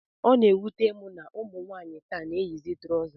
Ọ na-ewute m na ụmụ nwaanyị taa na-eyizi trọza